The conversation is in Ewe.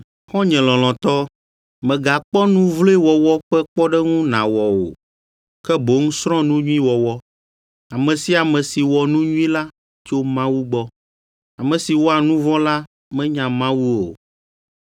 Xɔ̃nye lɔlɔ̃tɔ, megakpɔ nu vloe wɔwɔ ƒe kpɔɖeŋu nàwɔ o, ke boŋ srɔ̃ nu nyui wɔwɔ. Ame sia ame si wɔ nu nyui la tso Mawu gbɔ. Ame si wɔa nu vɔ̃ la menya Mawu o.